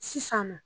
Sisan nɔ